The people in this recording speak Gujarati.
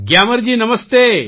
ગ્યામરજી નમસ્તે